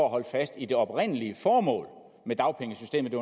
at holde fast i det oprindelige formål med dagpengesystemet det